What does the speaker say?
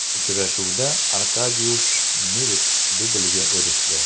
Uchrashuvda Arkadiush Milik dublga erishdi.